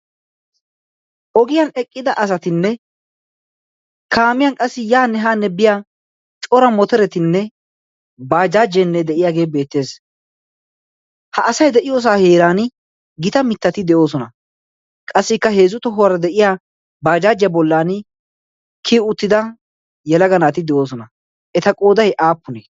ogiyan eqqida asatinne kaamiyan qassi yaa ni haanne biya cora moteretinne baajaajeenne de'iyaagee beettees ha asay de'iyoosaa heeran gita mittati de'oosona qassikka heezzu tohuwaara de'iya baajaajiya bollan kiyi uttida yalaganaati de'oosona eta qooday aappunee